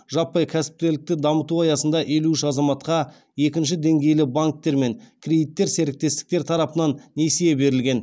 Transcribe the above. жаппай кәсіпкерлікті дамыту аясында елу үш азаматқа екінші деңгейлі банктер мен кредиттер серіктестіктер тарапынан несие берілген